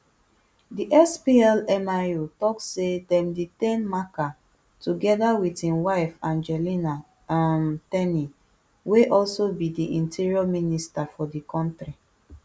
di splmio tok say dem detain machar togeda wit im wife angelina um ten y wey also bi di interior minister for di kontri